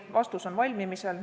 Vastus on valmimas.